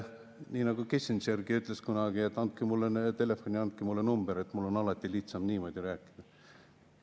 Nii nagu Kissingergi ütles kunagi, et andke mulle telefon ja andke mulle number, mul on alati lihtsam niimoodi rääkida.